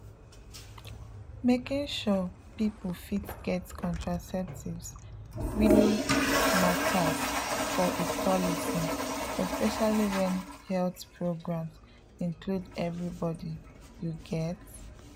making sure people fit get contraceptives really matters for equality especially when health programs include everybody you get?